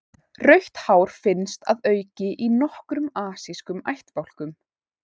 Rautt hár finnst að auki í nokkrum asískum ættbálkum.